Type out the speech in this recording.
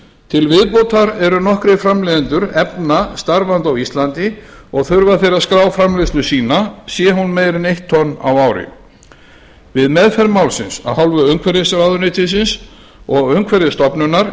til viðbótar eru nokkrir framleiðendur efna starfandi á íslandi og þurfa þeir að skrá framleiðslu sína sé hún meira en eitt tonn á ári við meðferð málsins af hálfu umhverfisráðuneytisins og umhverfisstofnunar